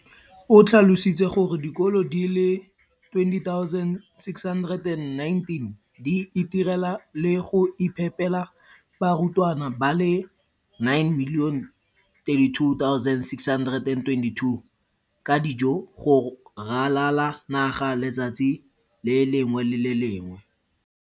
o tlhalositse gore dikolo di le 20 619 di itirela le go iphepela barutwana ba le 9 032 622 ka dijo go ralala naga letsatsi le lengwe le le lengwe.